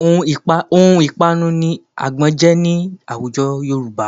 Ohun ìpanu ni àgbọn jẹ́ ní àwùjọ Yorùbá